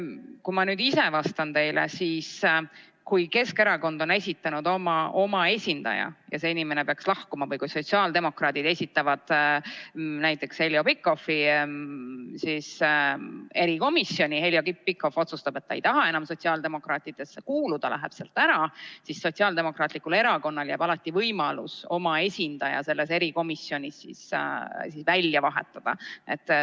Kui ma aga ise teile vastan, siis kui Keskerakond on esitanud oma esindaja ja see inimene peaks lahkuma või kui sotsiaaldemokraadid esitavad näiteks Heljo Pikhofi erikomisjoni ja Heljo Pikhofi otsustab, et ta ei taha enam sotsiaaldemokraatide ridadesse kuuluda, läheb sealt ära, siis Sotsiaaldemokraatlikul Erakonnal jääb alati võimalus oma esindaja selles erikomisjonis välja vahetada.